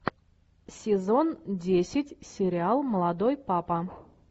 сезон десять сериал молодой папа